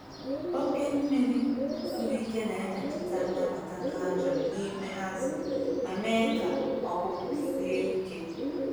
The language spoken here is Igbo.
Oke mmiri siri ike na-emetụta nnabata calcium n'ime azụ ma mee ka ọkpụkpụ sie ike.